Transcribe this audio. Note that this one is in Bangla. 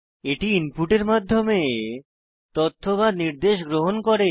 এটি ইনপুটের মাধ্যমে তথ্য বা নির্দেশ গ্রহণ করে